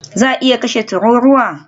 Za a iya kashe tururuwa?